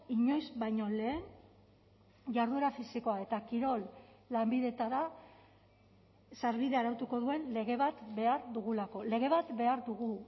inoiz baino lehen jarduera fisikoa eta kirol lanbideetara sarbidea arautuko duen lege bat behar dugulako lege bat behar dugu